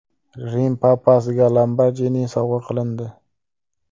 Rim papasiga Lamborghini sovg‘a qilindi.